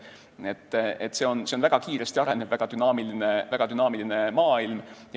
Nii et see on väga kiiresti arenev, väga dünaamiline maailm.